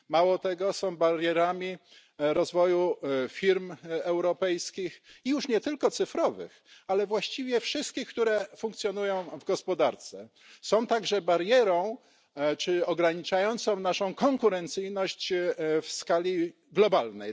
Mało tego, są barierami rozwoju firm europejskich już nie tylko cyfrowych, ale właściwie wszystkich, które funkcjonują w gospodarce. Są także barierą ograniczającą naszą konkurencyjność w skali globalnej.